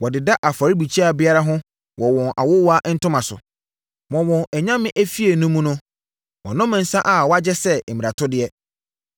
Wɔdeda afɔrebukyia biara ho wɔ wɔn awowa ntoma so. Wɔ wɔn anyame efie no mu no wɔnom nsã a wɔagye sɛ mmaratodeɛ.